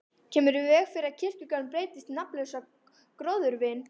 Kemur í veg fyrir að kirkjugarðurinn breytist í nafnlausa gróðurvin.